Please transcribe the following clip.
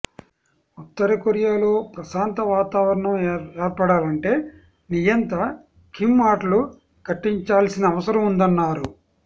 ఉత్తర కొరియాలో ప్రశాంత వాతావరణం ఏర్పడాలంటే నియంత కిమ్ ఆటలు కట్టించాల్సిన అవసరం ఉందన్నారు